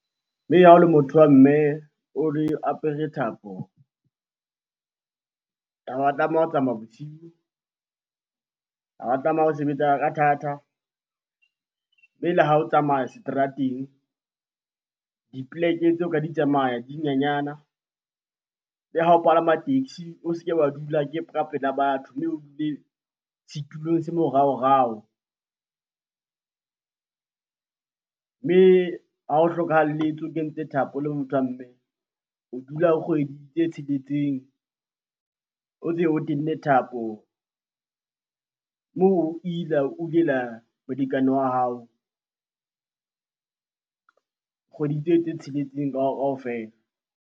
Mme ha o le motho wa mme, o re apere thapo. Ha wa tlameha ho tsamaya bosiu, ha wa tlameha ho sebetsa ka thata. Mme le ha o tsamaya seterateng, dipoleke tseo ka di tsamaya di nyenyana. Le ha o palama taxi, o se ke wa dula ka pela batho mme o dule setulong se moraorao. Mme ha o hlokahalletswe, o kentse thapo, o le motho wa mme. O dula kgwedi tse tsheletseng o ntse o tenne thapo o ila, o molekane wa hao kgwedi tse tsheletseng kaofela.